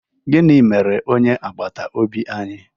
Gịnị mere onye agbata obi anyị?